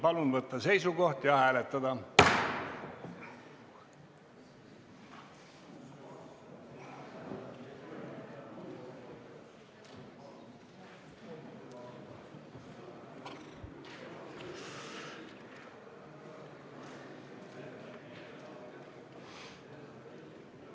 Palun võtta seisukoht ja hääletada!